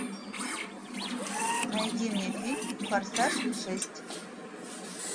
найди мне фильм форсаж шесть